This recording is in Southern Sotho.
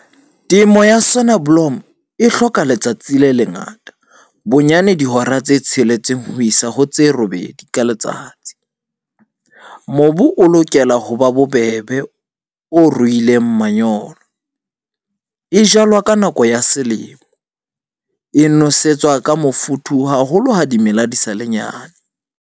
Temo ya Sonneblom e hloka letsatsi le lengata, bonyane dihora tse tsheletseng ho isa ho tse robedi ka letsatsi. Mobu o lokela ho ba bobebe, o ruileng manyolo. E jalwa ka nako ya selemo. E nosetswa ka mofuthu haholo, ha dimela di sa le nyane.